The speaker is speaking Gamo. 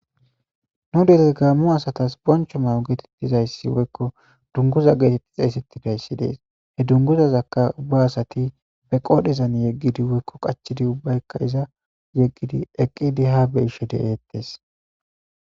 nu dere gaammo asatas boncho ma7o geetettizayssi woykko dunguza geetetti xeesettidayssi dees he dunguzazakka ubba asati be qoodhezan yeggidi woykko qachidi ubbaykka iza yeggidi eqqidi ha be isho de7eettees